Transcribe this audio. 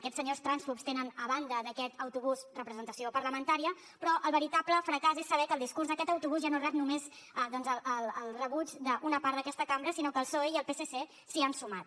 aquests senyors trànsfobs tenen a banda d’aquest autobús representació parlamentària però el veritable fracàs és saber que el discurs d’aquest autobús ja no rep només doncs el suport d’una part d’aquesta cambra sinó que el psoe i el psc s’hi han sumat